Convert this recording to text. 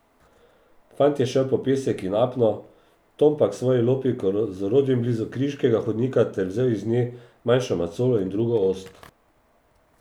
Fant je šel po pesek in apno, Tom pa k svoji lopi z orodjem blizu križnega hodnika ter vzel iz nje manjšo macolo in drugo ost.